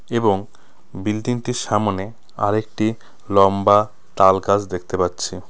এবং বিল্ডিং -টির সামোনে আরেকটি লম্বা তালগাছ দেখতে পাচ্ছি।